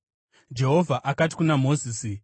Jehovha akati kuna Mozisi,